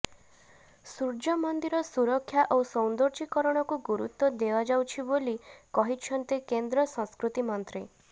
ସୂର୍ଯ୍ୟମନ୍ଦିର ସୁରକ୍ଷା ଓ ସୌନ୍ଦର୍ଯ୍ୟକରଣକୁ ଗୁରୁତ୍ୱ ଦିଆଯାଉଛି ବୋଲି କହିଛନ୍ତି କେନ୍ଦ୍ର ସଂସ୍କୃତି ମନ୍ତ୍ରୀ